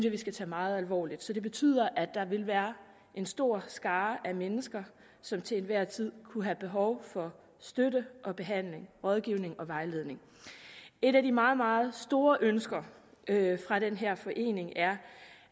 at vi skal tage meget alvorligt det betyder at der vil være en stor skare mennesker som til enhver tid kunne have behov for støtte og behandling rådgivning og vejledning et af de meget meget store ønsker fra den her forening er